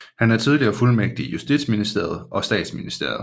Han er tidligere fuldmægtig i justitsministeriet og statsministeriet